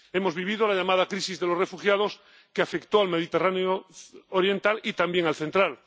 Hemos vivido la llamada crisis de los refugiados, que afectó al Mediterráneo oriental y también al central.